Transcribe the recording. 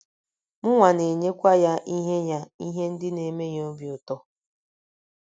Mụnwa na - enyekwa ya ihe ya ihe ndị na - eme ya obi ụtọ.